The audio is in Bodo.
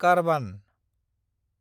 कारबान